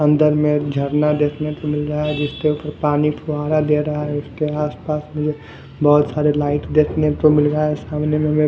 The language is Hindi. समुंदर के एक झरना देखने को मिल रहा है जिसके उपर पानी फुवारा दे रहा है उसके आसपास मुझे बहुत सारे लाइट देखने को मिल रहा है इस कमरे में हमे--